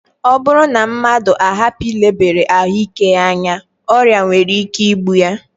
Ọ bụrụ na mmadụ ahapụ ilebara ahụike ya anya, ọrịa nwere ike igbu ya